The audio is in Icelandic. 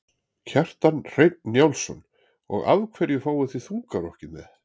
Kjartan Hreinn Njálsson: Og af hverju fáið þið þungarokkið með?